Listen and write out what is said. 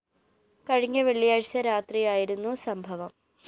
കഴിഞ്ഞ വെള്ളിയാഴ്ച രാത്രിയായിരുന്നു സംഭവം